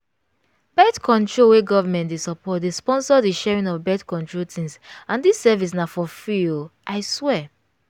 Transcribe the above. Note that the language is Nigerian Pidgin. birth-control wey government dey support dey sponsor the sharing of birth-control things and this service na for free oo i swear